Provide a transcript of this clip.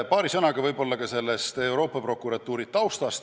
Paari sõnaga Euroopa Prokuratuuri taustast.